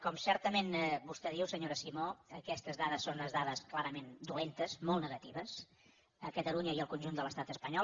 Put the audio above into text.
com certament vostè diu senyora simó aquestes dades són unes dades clarament dolentes molt negatives a catalunya i al conjunt de l’estat espanyol